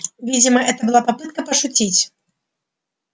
видимо это была попытка пошутить